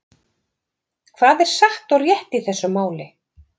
Hvað er satt og rétt í þessu máli?